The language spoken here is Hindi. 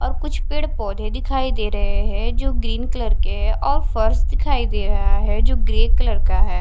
और कुछ पेड़ पौधे दिखाई दे रहे हैं जो ग्रीन कलर के हैं और फर्श दिखाई दे रहा है जो ग्रे कलर का है।